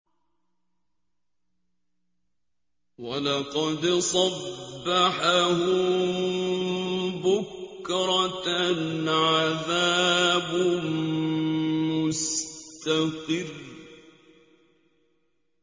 وَلَقَدْ صَبَّحَهُم بُكْرَةً عَذَابٌ مُّسْتَقِرٌّ